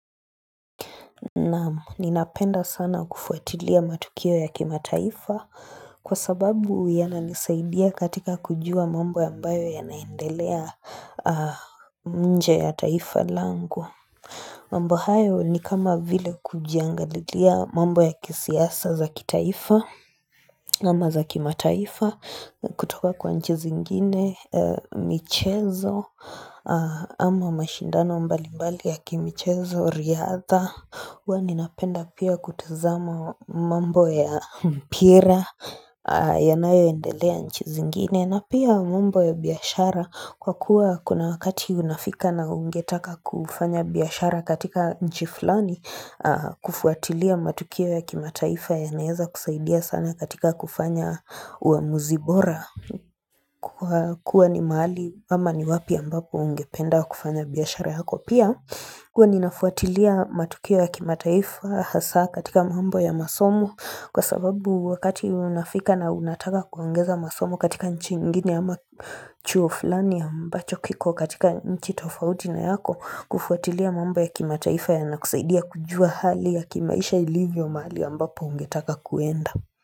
Naam ninapenda sana kufuatilia matukio ya kimataifa kwa sababu yananisaidia katika kujua mambo ya ambayo yanaendelea nje ya taifa langu. Mambo hayo ni kama vile kujiangalilia mambo ya kisiasa za kitaifa ama za kimataifa kutoka kwa nchi zingine michezo ama mashindano mbalimbali ya kimichezo riadha. Huwa ninapenda pia kutazama mambo ya mpira yanayoendelea nchi zingine na pia mambo ya biashara kwa kuwa kuna wakati unafika na ungetaka kufanya biashara katika nchi flani kufuatilia matukio ya kimataifa yanaeza kusaidia sana katika kufanya uamuzi bora Kwa kuwa ni mahali ama ni wapi ambapo ungependa kufanya biashara yako pia huwa ninafuatilia matukio ya kimataifa hasa katika mambo ya masomo kwa sababu wakati unafika na unataka kuongeza masomo katika nchi ingine ama chuo fulani ambacho kiko katika nchi tofauti na yako kufuatilia mambo ya kimataifa yanakusaidia kujua hali ya kimaisha ilivyo mahali ambapo ungetaka kuenda.